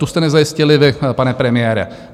Tu jste nezajistili vy, pane premiére.